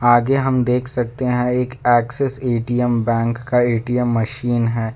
आगे हम देख सकते हैं एक एक्सिस ए_टी_एम बैंक का ए_टी_एम मशीन है।